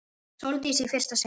Sóldísi í fyrsta sinn.